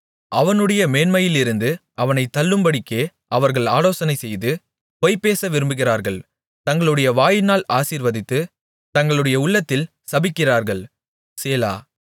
அவனுடைய மேன்மையிலிருந்து அவனைத் தள்ளும்படிக்கே அவர்கள் ஆலோசனைசெய்து பொய்பேச விரும்புகிறார்கள் தங்களுடைய வாயினால் ஆசீர்வதித்து தங்களுடைய உள்ளத்தில் சபிக்கிறார்கள் சேலா